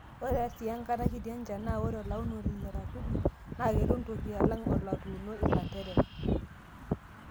Ore sii enkata kiti enchan naa ore olaunoni leratuni naa ketum toki alang' olotuuno ilanterera.